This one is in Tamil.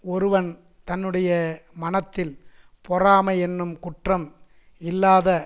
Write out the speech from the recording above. ஒருவன் தன்னுடைய மனத்தில் பொறாமை என்னும் குற்றம் இல்லாத